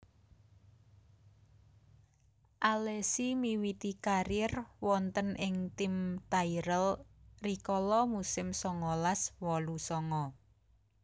Alesi miwiti karièr wonten ing tim Tyrell rikala musim songolas wolu songo